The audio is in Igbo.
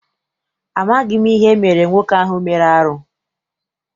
Amaghị m ihe emere nwoke ahụ mere arụ.